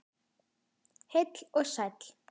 Heill og sæll.